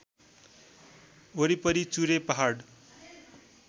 वरिपरि चुरे पहाड